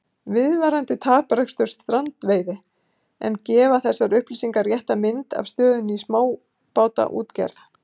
Viðvarandi taprekstur strandveiði En gefa þessar upplýsingar rétta mynd af stöðunni í smábátaútgerð?